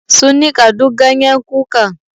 Sun nika duk ganyen kukan.